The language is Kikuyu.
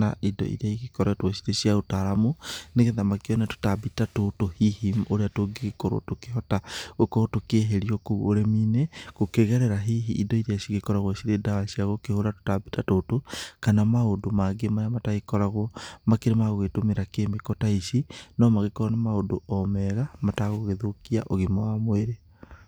na indo iria igĩkoretwo ciri cia ũtaramu, nĩ getha makĩone tũtambi ta tũtũ hihi ũrĩa tũngĩgĩkorwo tũkĩhota gũkorwo tũkĩeherio kũu ũrĩmi-inĩ. Gũkĩgerera hihi indo iria cigĩkoragwo cirĩ nadwa cia gũkĩhũra tũtambi ta tũtũ, kana maũndũ mangĩ marĩa matagĩkoragwo makĩrĩ magũgĩtũmĩra kemiko ta ici. No magĩkorwo nĩ maũndũ o mega matagũgĩthũkia ũgima wa mwĩrĩ.